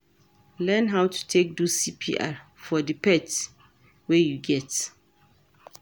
Learn how to take do CPR for di pets wey you get